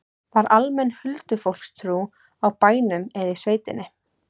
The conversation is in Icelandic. Var almenn huldufólkstrú á bænum eða í sveitinni?